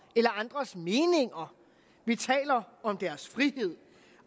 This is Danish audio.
eller andres meninger vi taler om deres frihed